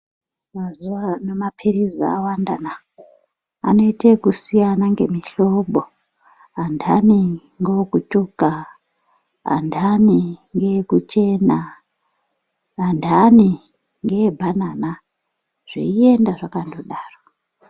Mazuva ano maphirizi awanda na anoita ngekusiyana ngemuhlobo andani ngeekutsvuka andani ngekuchena andani ngee bhanana zveienda zvakandodaro.